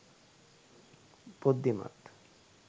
බුද්ධිමත්